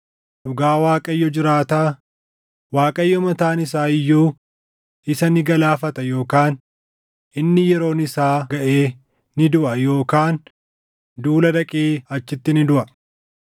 Dhugaa Waaqayyo jiraataa, Waaqayyo mataan isaa iyyuu isa ni galaafata yookaan inni yeroon isaa gaʼee ni duʼa yookaan duula dhaqee achitti ni duʼa.